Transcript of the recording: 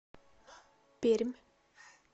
пермь